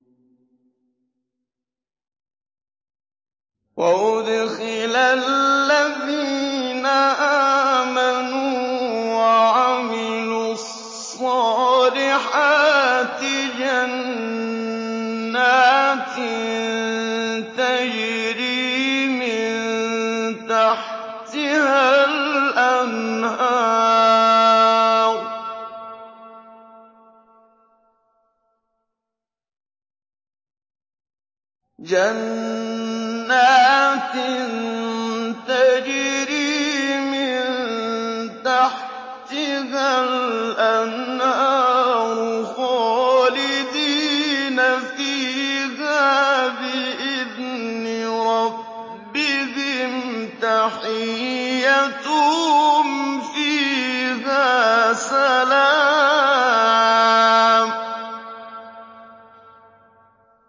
وَأُدْخِلَ الَّذِينَ آمَنُوا وَعَمِلُوا الصَّالِحَاتِ جَنَّاتٍ تَجْرِي مِن تَحْتِهَا الْأَنْهَارُ خَالِدِينَ فِيهَا بِإِذْنِ رَبِّهِمْ ۖ تَحِيَّتُهُمْ فِيهَا سَلَامٌ